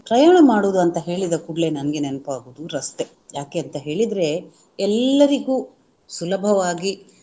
ಪ್ರಯಾಣ ಮಾಡುವುದು ಅಂತ ಹೇಳಿದ ಕೂಡಲೇ ನಮಗೆ ನೆನಪಾಗುವುದು ರಸ್ತೆ ಯಾಕೆ ಅಂತ ಹೇಳಿದ್ರೆ ಎಲ್ಲರಿಗೂ ಸುಲಭವಾಗಿ